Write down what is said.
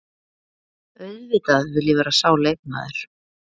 Auðvitað vill ég vera sá leikmaður.